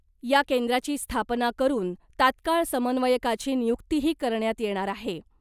या केंद्राची स्थापना करुन तात्काळ समन्वयकाची नियुक्तीही करण्यात येणार आहे .